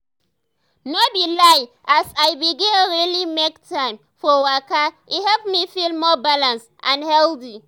no be lie as i begin really make time for waka e help me feel more balanced and healthy.